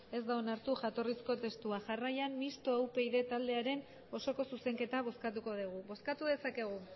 ez da onartu jatorrizko testua jarraian mistoa upyd taldearen osoko zuzenketa bozkatuko dugu bozkatu dezakegu